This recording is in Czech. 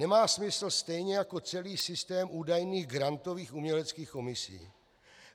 Nemá smysl stejně jako celý systém údajných grantových uměleckých komisí.